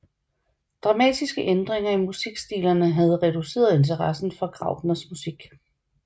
Dramatiske ændringer i musikstilerne havde reduceret interessen for Graupners musik